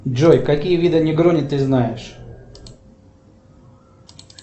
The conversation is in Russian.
джой какие виды негрони ты знаешь